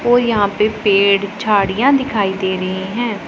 और यहां पे पेड़ झाड़ियां दिखाई दे रहीं हैं।